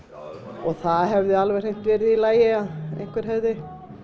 og það hefði alveg hreint verið í lagi að einhver hefði